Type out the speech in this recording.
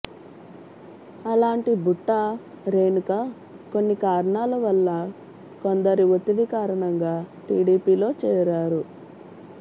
అలాంటి బుట్టా రేణుక కొన్ని కారణాల వల్ల కొందరి ఒత్తిడి కారణంగా టిడిపిలో చేరారు